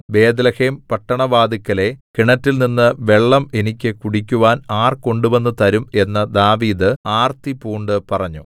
Bethlehem പട്ടണവാതില്‍ക്കലെ കിണറ്റിൽനിന്ന് വെള്ളം എനിക്ക് കുടിക്കുവാൻ ആർ കൊണ്ടുവന്ന് തരും എന്നു ദാവീദ് ആർത്തിപൂണ്ടു പറഞ്ഞു